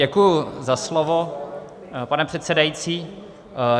Děkuji za slovo, pane předsedající.